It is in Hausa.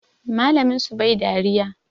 Malamin su bai dariya